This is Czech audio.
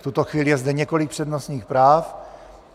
V tuto chvíli je zde několik přednostních práv.